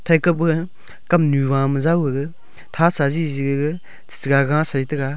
taka ba kamnu hua ma jao gaga tha sa jeje ga chaga saita ga.